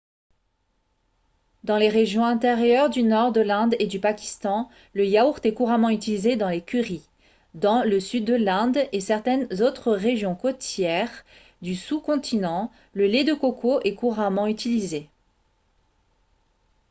dans les régions intérieures du nord de l'inde et du pakistan le yaourt est couramment utilisé dans les currys dans le sud de l'inde et certaines autres régions côtières du sous-continent le lait de coco est couramment utilisé